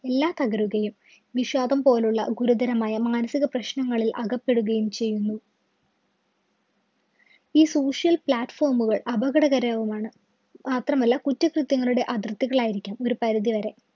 എല്ലാം തകരുകയും, വിഷാദം പോലുള്ള ഗുരുതരമായ മാനസിക പ്രശ്നങ്ങളില്‍ അകപ്പെടുകയും ചെയ്യുന്നു. ഈ social platform കള്‍ അപകടകരവുമാണ്. മാത്രമല്ല കുറ്റകൃത്യങ്ങളുടെ അതിര്‍ത്തികളായിരിക്കും ഒരു പരിധി വരെ.